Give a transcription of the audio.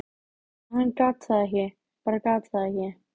Ég er með stanslausa löngun í sígarettur.